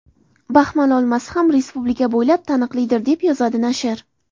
Baxmal olmasi ham respublika bo‘ylab taniqlidir”, deb yozadi nashr.